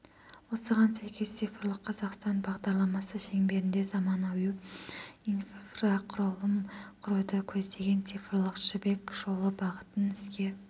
осыған сәйкес цифрлық қазақстан бағдарламасы шеңберінде заманауи инфрақұрылым құруды көздеген цифрлық жібек жолы бағытын іске